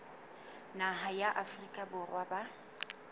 naha ya afrika borwa ba